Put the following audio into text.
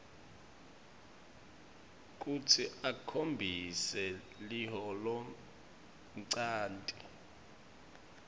kutsi ukhombise liholonchanti